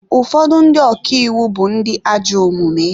Ụfọdụ ndị ọka iwu bụ ndị ajọ omume.